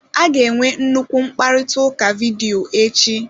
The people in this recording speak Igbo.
A ga-enwe nnukwu mkparịta ụka vidiyo echi.